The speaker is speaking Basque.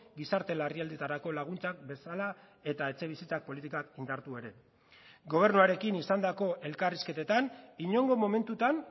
gizarte larrialdietarako laguntzak bezala eta etxebizitza politikak indartu ere gobernuarekin izandako elkarrizketetan inongo momentutan